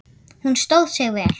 Hún stóð sig vel.